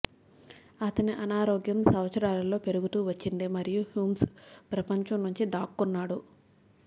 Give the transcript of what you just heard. అతని అనారోగ్యం సంవత్సరాలలో పెరుగుతూ వచ్చింది మరియు హుఘ్స్ ప్రపంచం నుంచి దాక్కున్నాడు